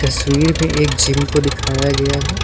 तस्वीर में एक जिम को दिखाया गया है।